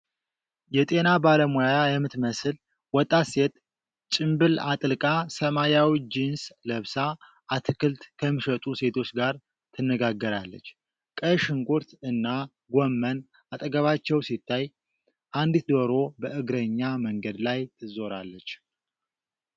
የጤና ባለሙያ የምትመስል ወጣት ሴት ጭምብል አጥልቃ፣ ሰማያዊ ጂንስ ለብሳ አትክልት ከሚሸጡ ሴቶች ጋር ትነጋገራለች። ቀይ ሽንኩርት እና ጎመን አጠገባቸው ሲታይ፣ አንዲት ዶሮ በእግረኛ መንገድ ትዞራለች።